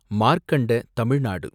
மார்க்கண்ட தமிழ் நாடு